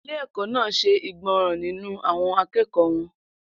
Ilé-ẹ̀kọ́ náà ṣe ìgbọràn nínú àwọn akẹ́kọ̀ọ́ wọn.